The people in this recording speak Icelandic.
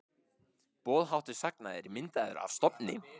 Boðháttur sagna er myndaður af stofni.